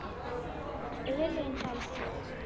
Elín Helga.